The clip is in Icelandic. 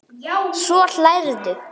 Svo hlærðu.